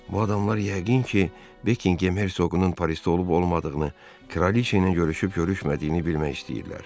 Bu adamlar yəqin ki, Bekingem hersoqunun Parisdə olub-olmadığını, Kraliçə ilə görüşüb-görüşmədiyini bilmək istəyirlər.